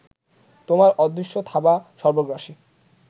তোমার অদৃশ্য থাবা সর্বগ্রাসী